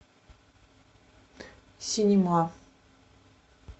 синема